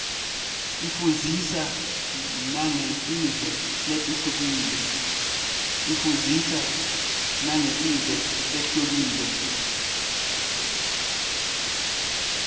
ifundzisa nangetive letihlukile